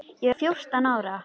Ég var fjórtán ára.